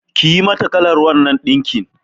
Kayi mata kalan wannan ɗinkin.